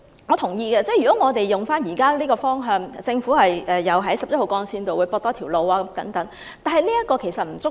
我同意按現時的發展方向，政府可在十一號幹線多建一條接駁路，但這並不足夠。